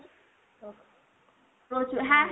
প্রচুর। হ্যাঁ